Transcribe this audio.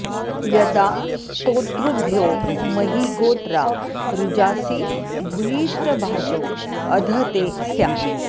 य॒दा स्तो॒तृभ्यो॒ महि॑ गो॒त्रा रु॒जासि॑ भूयिष्ठ॒भाजो॒ अध॑ ते स्याम